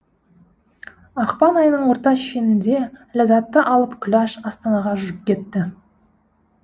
ақпан айының орта шенінде ләззатты алып күләш астанаға жүріп кетті